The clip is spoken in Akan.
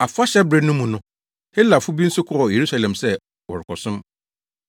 Afahyɛbere no mu no, Helafo bi nso kɔɔ Yerusalem sɛ wɔrekɔsom.